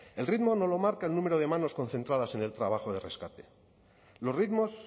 el ritmo no lo marca el número de manos concentradas en el trabajo de rescate los ritmos